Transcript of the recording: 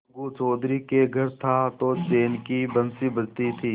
अलगू चौधरी के घर था तो चैन की बंशी बजती थी